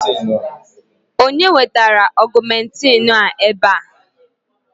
Ọ bụ onye wetara Ọgụmentịịnụ a ébé a?